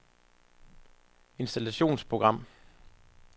installationsprogram